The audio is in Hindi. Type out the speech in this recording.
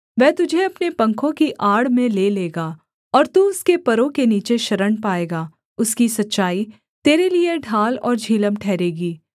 वह तुझे अपने पंखों की आड़ में ले लेगा और तू उसके परों के नीचे शरण पाएगा उसकी सच्चाई तेरे लिये ढाल और झिलम ठहरेगी